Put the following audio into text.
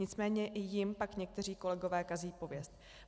Nicméně i jim pak někteří kolegové kazí pověst.